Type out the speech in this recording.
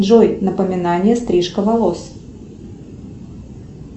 джой напоминание стрижка волос